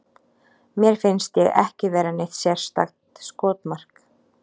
Mér finnst ég ekki vera neitt sérstakt skotmark.